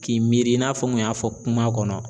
K'i miiri i n'a fɔ n kun y'a fɔ kuma kɔnɔ.